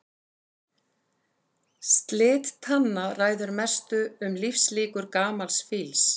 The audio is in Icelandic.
Slit tanna ræður mestu um lífslíkur gamals fíls.